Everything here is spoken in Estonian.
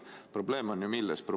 Probleem on ju milles?